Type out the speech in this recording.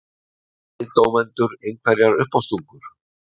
Hafa kviðdómendur einhverjar uppástungur?